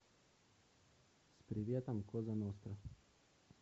с приветом коза ностра